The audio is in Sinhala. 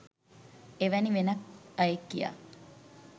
එවැනි වෙනත් අයෙක් කියා